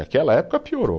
Naquela época piorou.